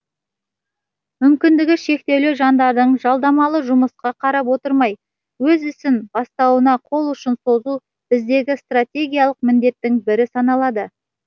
мүмкіндігі шектеулі жандардың жалдамалы жұмысқа қарап отырмай өз ісін бастауына қол ұшын созу біздегі стратегиялық міндеттің бірі саналады